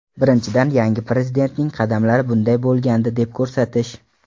Birinchidan, yangi Prezidentning qadamlari bunday bo‘lgandi deb ko‘rsatish.